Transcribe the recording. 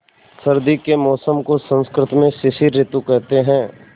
सर्दी के मौसम को संस्कृत में शिशिर ॠतु कहते हैं